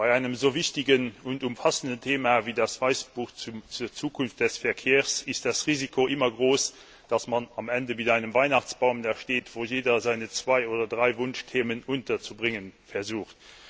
Bei einem so wichtigen und umfassenden Thema wie dem Weißbuch zur Zukunft des Verkehrs ist das Risiko immer groß, dass man am Ende mit einem Weihnachtsbaum dasteht, wo jeder seine zwei oder drei Wunschthemen unterzubringen versucht.